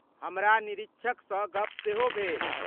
हमरा निरीक्षकसँ गप्प सेहो भेल।